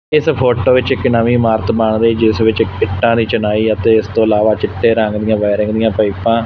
ਇਸ ਫੋਟੋ ਵਿੱਚ ਇੱਕ ਨਵੀਂ ਇਮਾਰਤ ਬਣ ਰਹੀ ਜਿਸ ਵਿੱਚ ਇੱਟਾਂ ਦੀ ਚਨਾਈ ਅਤੇ ਇਸ ਤੋਂ ਇਲਾਵਾ ਚਿੱਟੇ ਰੰਗ ਦੀਆਂ ਬੈਰਿੰਗ ਦੀਆਂ ਪਾਈਪਾਂ --